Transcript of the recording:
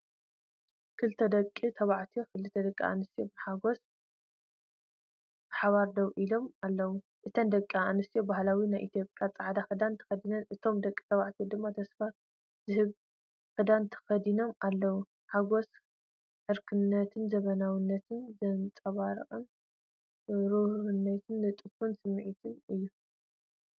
ክልተ ደቂ ተባዕትዮን ክልተ ደቂ ኣንስትዮን ብሓጎስ ብሓባር ደው ኢሎም ኣለዉ። እተን ደቂ ኣንስትዮ ባህላዊ ናይ ኢትዮጵያ ጻዕዳን ክዳን ተከዲነን፡እቶም ደቂ ተባዕትዮ ድማ ተስፋ ዝህብ ክዳን ተኸዲኖም ኣለው። ሓጎስ ዕርክነትን ዘመናዊነትን ዘንጸባርቕ ፍሩይን ንጡፍን ስምዒት እዩ።